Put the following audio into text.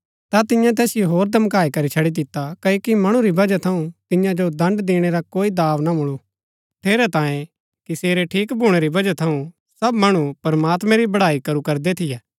ता तिन्ये तैसिओ होर धमकाई करी छड़ी दिता क्ओकि मणु री वजह थऊँ तियां जो दण्ड़ दिणै रा कोई दाँव ना मूळु ठेरैतांये कि सेरै ठीक भूणै री वजह थऊँ सब मणु प्रमात्मैं री बड़ाई करू करदै थियै